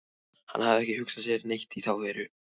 Hann hafði ekki hugsað sér neitt í þá veru.